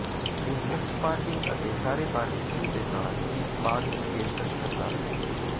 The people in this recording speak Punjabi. ਇਹ ਮੁਫ਼ਤ ਪਾਰਕਿੰਗ ਅਤੇ ਸਾਰੇ ਬਾਰਬਿਕਯੂ ਦੇ ਨਾਲ ਇੱਕ ਬਾਗ ਦੀ ਪੇਸ਼ਕਸ਼ ਕਰਦਾ ਹੈ